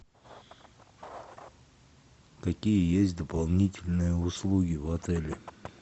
какие есть дополнительные услуги в отеле